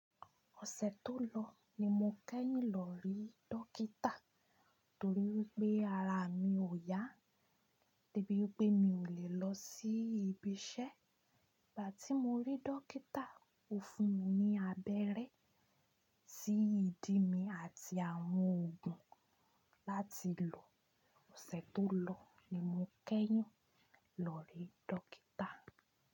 Ọ̀sẹ̀ tó lọ ní mo kẹ́yìn lọ rí dókítà torí wipé ara mi ò yá, debí wipé mi ò lè lọ sí ibi iṣẹ́. Ìgbà tí mo rí dókítà ó fún mi ní abẹ́rẹ́ sí ìdí mi àti àwọn òògùn láti lò. Ọ̀sẹ̀ tó lọ ní mo kẹ́yìn lọ rí dókítà.